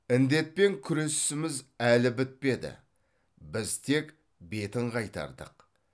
індетпен күресіміз әлі бітпеді біз тек бетін қайтардық